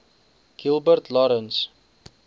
gilbert lawrence